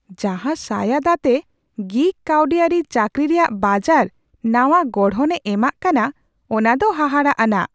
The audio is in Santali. ᱡᱟᱦᱟᱸ ᱥᱟᱸᱭᱟᱫᱽ ᱟᱛᱮ ᱜᱤᱜ ᱠᱟᱹᱣᱰᱤᱟᱹᱨᱤ ᱪᱟᱹᱠᱨᱤ ᱨᱮᱭᱟᱜ ᱵᱟᱡᱟᱨ ᱱᱟᱶᱟ ᱜᱚᱲᱦᱚᱱᱮ ᱮᱢᱟᱜ ᱠᱟᱱᱟ ᱚᱱᱟ ᱫᱚ ᱦᱟᱦᱟᱲᱟᱼᱟᱱᱟᱜ ᱾